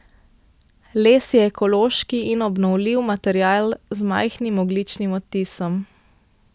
Les je ekološki in obnovljiv material z majhnim ogljičnim odtisom.